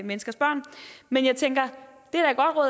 menneskers børn men jeg tænker